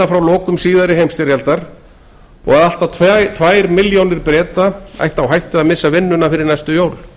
frá lokum síðari heimsstyrjaldar og að allt að tvær milljónir breta ættu á hættu að missa vinnuna fyrir næstu jól